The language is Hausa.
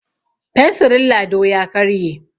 fensirin Lado ya karye